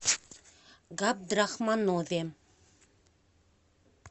габдрахманове